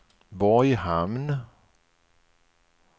Borghamn